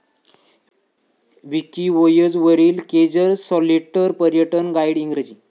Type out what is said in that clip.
Wikivoyage वरील केजर सलॉटर पर्यटन गाईड इंग्रजी